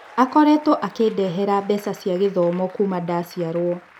Akoretwo akĩndehera mbeca cia gĩthomo kuuma ndaciarũo.